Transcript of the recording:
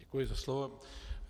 Děkuji za slovo.